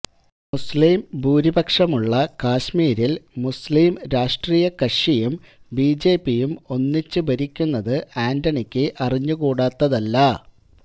മുസ്ലീം ഭൂരിപക്ഷമുള്ള കാശ്മീരില് മുസ്ലീം രാഷ്ട്രീയ കക്ഷിയും ബിജെപിയും ഒന്നിച്ച് ഭരിക്കുന്നത് ആന്റണിക്ക് അറിഞ്ഞുകൂടാത്തതല്ല